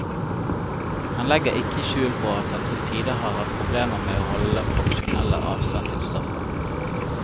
Han legger ikke skjul på at han til tider har hatt problemer med å holde den profesjonelle avstand til stoffet.